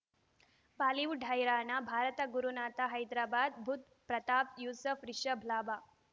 Bollywood ಹೈರಾಣ ಭಾರತ ಗುರುನಾಥ ಹೈದರಾಬಾದ್ ಬುಧ್ ಪ್ರತಾಪ್ ಯೂಸುಫ್ ರಿಷಬ್ ಲಾಭ